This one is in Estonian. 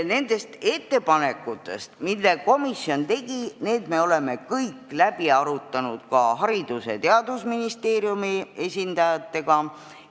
Need ettepanekud, mille komisjon tegi, me oleme kõik läbi arutanud ka Haridus- ja Teadusministeeriumi esindajatega.